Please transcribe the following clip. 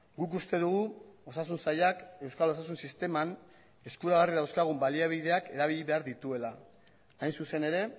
guk uste dugu osasun sailak euskal osasun sisteman eskuragarri dauzkagun baliabideak erabili behar dituela hain zuzen ere